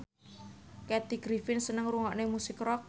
Kathy Griffin seneng ngrungokne musik rock